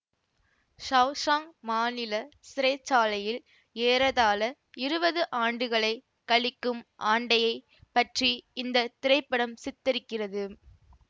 Shawshank மாநில சிறை சாலையில் ஏறதாழ இருவது ஆண்டுகளைக் கழிக்கும் ஆண்டயை பற்றி இந்த திரைப்படம் சித்தரிக்கிறது